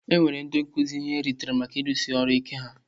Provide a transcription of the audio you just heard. E nyere ndị nkuzi ihe nrite maka ịrụsi ọrụ ike ha.